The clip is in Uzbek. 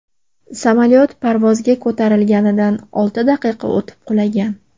Samolyot parvozga ko‘tarilganidan olti daqiqa o‘tib qulagan.